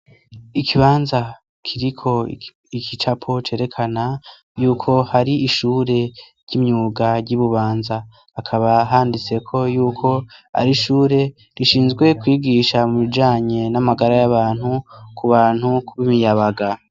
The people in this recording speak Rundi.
Ikibanza kiriko ikicapo cerekana y'uko hari ishure ry'imyuga ry'i Bubanza. Hakaba handitseko y'uko, ari ishure rishinzwe kwigisha mu bijanye n'amagara y'abantu, ku bantu ku b'imiyabaga.